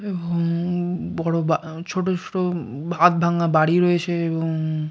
উম-ম-ম বড় বা ছোট ছোট উম হাফ ভাঙা বাড়ি রয়েছে এবং--